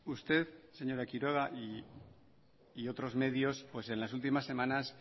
usted señora quiroga y otros medios en las últimas semanas